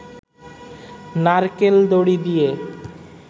নারকেল দড়ি দিয়ে